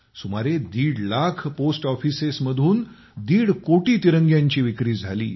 सुमारे दीड lakh post offices मधून दीड कोटी तिरंग्यांची विक्री झाली